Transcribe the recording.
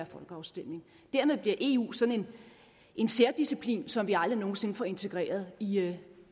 folkeafstemning dermed bliver eu sådan en særdisciplin som vi aldrig nogen sinde får integreret i